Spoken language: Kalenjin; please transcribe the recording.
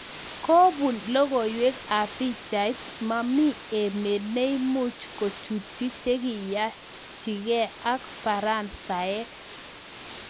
Kobun logoiwek ab pichait mamii emet neimuch kochutyi chekiiyanchige ak faransaek.